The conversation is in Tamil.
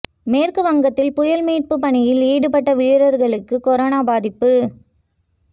மேற்கு வங்கத்தில் புயல் மீட்பு பணியில் ஈடுபட்ட வீரர்களுக்கு கொரோனா பாதிப்பு